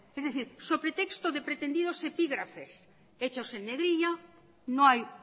es decir so pretexto de pretendidos epígrafes hechos en negrilla no hay